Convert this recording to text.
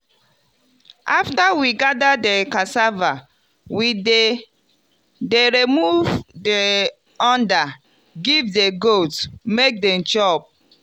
after we gather di cassava we dey dey remove di under give di goats make dem chop.